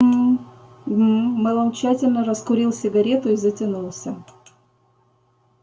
гм-м-м мэллоу тщательно раскурил сигару и затянулся